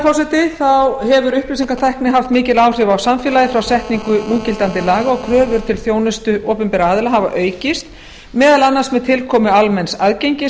annarrar upplýsingatækni hefur haft mikil áhrif á samfélagið frá setningu núgildandi laga og kröfur til þjónustu opinberra aðila hafa aukist meðal annars með tilkomu almenns aðgengis